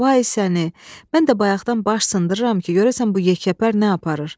Ay səni, mən də bayaqdan baş sındırıram ki, görəsən bu yekəpər nə aparır.